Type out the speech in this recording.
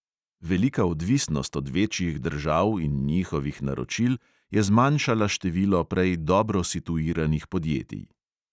Velika odvisnost od večjih držav in njihovih naročil je zmanjšala število prej dobro situiranih podjetij.